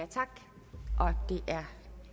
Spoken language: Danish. er